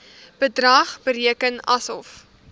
bedrag bereken asof